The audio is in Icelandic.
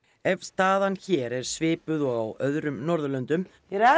ef staðan hér er svipuð og á öðrum Norðurlöndum